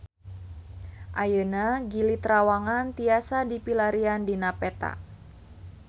Ayeuna Gili Trawangan tiasa dipilarian dina peta